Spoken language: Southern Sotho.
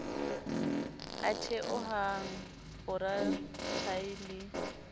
a theohang fora thae le